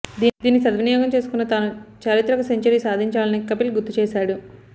దీన్ని సద్వినయోగం చేసుకున్న తాను చారిత్రక సెంచరీ సాధించానని కపిల్ గుర్తు చేశాడు